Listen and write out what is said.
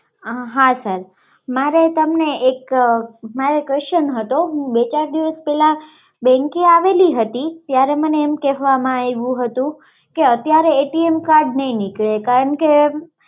હા મારે તમને એક, મારે તમને એક question હતો હું બે ચાર દિવસ પેહલા bank એ આવેલી હતી મને એમ કહેવામાં આવ્યું હતું કે અત્યારે card નહિ નીકળે કારણકે